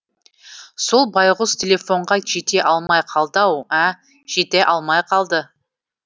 сол байғұс телефонға жете алмай қалды ау ә жете алмай қалды